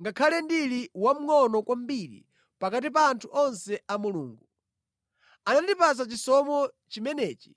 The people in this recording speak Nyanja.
Ngakhale ndili wamngʼono kwambiri pakati pa anthu onse a Mulungu, anandipatsa chisomo chimenechi